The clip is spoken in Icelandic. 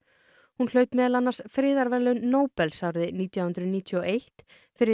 hún hlaut meðal annars friðarverðlaun Nóbels árið nítján hundruð níutíu og eitt fyrir